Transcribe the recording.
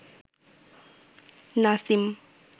Nasim